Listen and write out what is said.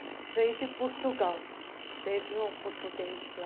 E veio de Portugal, teve um português lá,